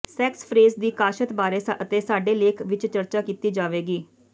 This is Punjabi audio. ਸੈੈਕਸਫ੍ਰੈਜ ਦੀ ਕਾਸ਼ਤ ਬਾਰੇ ਅਤੇ ਸਾਡੇ ਲੇਖ ਵਿਚ ਚਰਚਾ ਕੀਤੀ ਜਾਵੇਗੀ